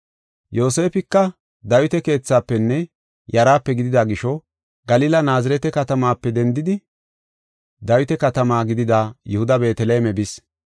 Yoosefika Dawita keethaafenne yaraape gidida gisho, Galila Naazirete katamaape dendidi Dawita katama gidida Yihuda Beeteleme bis.